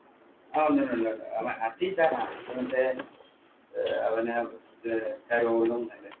ആഹ് ഒണ്ട് അത് മറ്റേ അവന് കരോളും ഒക്കെ